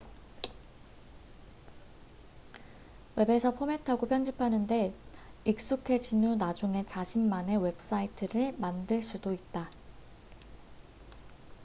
웹에서 포맷하고 편집하는 데 익숙해진 후 나중에 자신만의 웹사이트를 만들 수도 있다